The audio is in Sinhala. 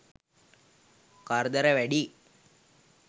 කරදර වැඩියි.